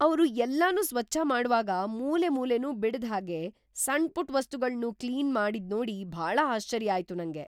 ಅವ್ರು ಎಲ್ಲನೂ ಸ್ವಚ್ಛ ಮಾಡ್ವಾಗ ಮೂಲೆಮೂಲೆನೂ ಬಿಡ್ದ್‌ ಹಾಗೆ, ಸಣ್ಪುಟ್‌ ವಸ್ತುಗಳ್ನೂ ಕ್ಲೀನ್‌ ಮಾಡಿದ್ನೋಡಿ ಭಾಳ ಆಶ್ಚರ್ಯ ಆಯ್ತು ನಂಗೆ.